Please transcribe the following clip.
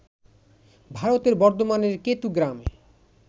ভারতের বর্ধমানের কেতু গ্রামে